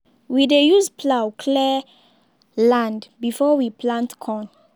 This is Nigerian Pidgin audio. we dey use plough clear land before we plant corn.